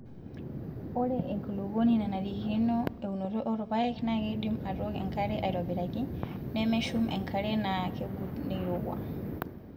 Ore enkulukuoni nanarikino eunoto oorpaek naa keidim aatok enkare aitobiraki, nemeshum enkare naakegut neirowua.